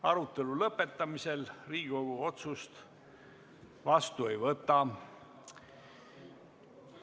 Arutelu lõpetamisel Riigikogu otsust vastu ei võta.